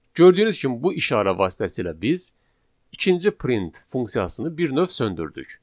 Gördüyünüz kimi bu işarə vasitəsilə biz ikinci print funksiyasını bir növ söndürdük.